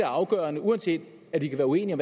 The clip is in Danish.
afgørende uanset at vi kan være uenige